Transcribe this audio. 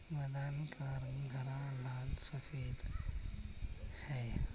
मैदान का रंग हरा लाल सफेद है।